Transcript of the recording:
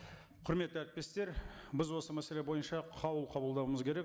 құрметті әріптестер біз осы мәселе бойынша қаулы қабылдауымыз керек